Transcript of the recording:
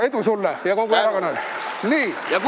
Edu sulle ja kogu erakonnale!